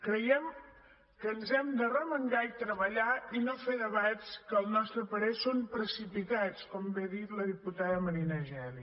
creiem que ens hem d’arremangar i treballar i no fer debats que al nostre parer són precipitats com bé ha dit la diputada marina geli